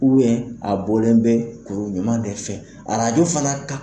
a bɔlen bɛ kuru ɲuman de fɛ . Arajo fana ka